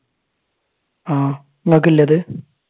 ആഹ് നിങ്ങൾക്കില്ലേ അത്?